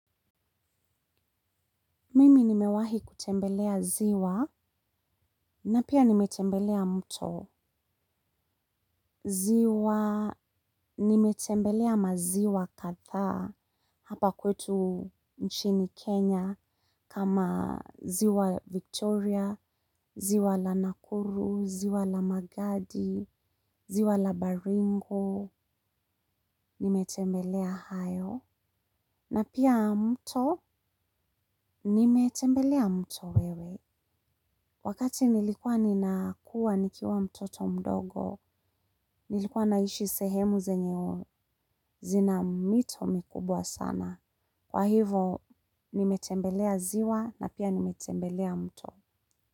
Mimi nimewahi kutembelea ziwa na pia nimetembelea mto. Ziwa nimetembelea maziwa kadhaa hapa kwetu nchini Kenya kama ziwa Victoria, ziwa Nakuru, ziwa magadi, ziwa Baringo. Nimetembelea hayo na pia mto nimetembelea mto. Wewe. Wakati nilikuwa ninakua nikiwa mtoto mdogo, nilikuwa naishi sehemu zenye mito mikubwa sana. Kwa hivo, nimetembelea ziwa na pia nimetembelea mto.